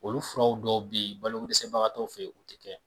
Olu furaw dɔw be yen balokodɛsɛbagatɔw fe yen o te kɛ